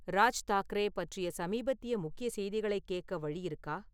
ராஜ் தாக்ரே பற்றிய சமீபத்திய முக்கிய செய்திகளைக கேக்க வழி இருக்கா?